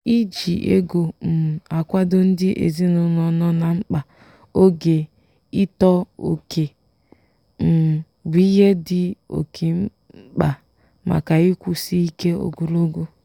“iji ego um akwado ndị ezinụlọ nọ na mkpa oge ịtọ oke um bụ ihe dị oke mkpa maka ịkwụsị ike ogologo.”